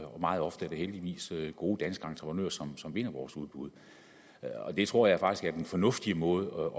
og meget ofte er det heldigvis gode danske entreprenører som som vinder vores udbud det tror jeg faktisk er den fornuftige måde